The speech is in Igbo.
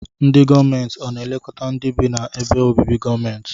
Ndi gọọmenti ọna elekọta ndi bi na ebe obibi gọọmenti?